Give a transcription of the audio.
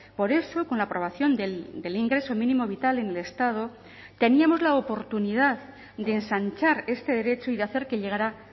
por eso con la aprobación del ingreso mínimo vital en el estado teníamos la oportunidad de ensanchar este derecho y de hacer que llegará